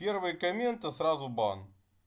первые комменты сразу бан